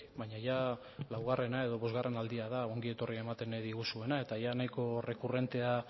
baina jada laugarrena edo bosgarrena aldia da ongietorria ematen diguzuena eta nahiko